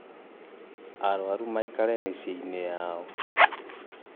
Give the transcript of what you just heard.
aruaru maĩkare micĩĩ-ĩnĩ yao.